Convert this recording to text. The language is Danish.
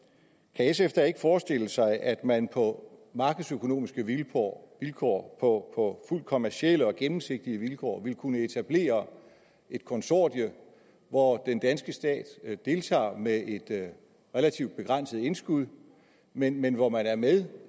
sf da ikke forestille sig at man på markedsøkonomiske vilkår vilkår på fuldt kommercielle og gennemsigtige vilkår ville kunne etablere et konsortium hvor den danske stat deltager med et relativt begrænset indskud men men hvor man er med